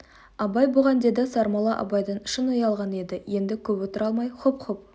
абай бұған деді сармолла абайдан шын ұялған еді енді көп отыра алмай хұп-хұп